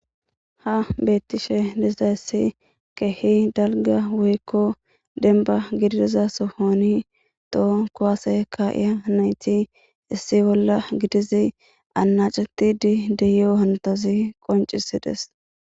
Ha betishe dizayis kihi daliga woyikko denba gidiza sohoni toho kuase kayiya nati issi bola gidizi anacetidi deiyo hanotazi qoncisides.